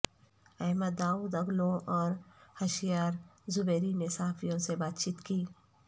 Ahmad Davutoglu اور Hoshyar Zebari نے صحافیوں سے بات چیت کی